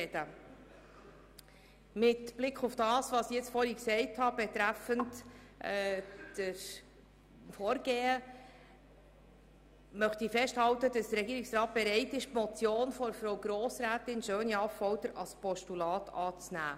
Mit Blick auf das, was ich soeben zum Vorgehen gesagt habe, halte ich fest, dass der Regierungsrat bereit ist, die Motion von Grossrätin Schöni-Affolter als Postulat anzunehmen.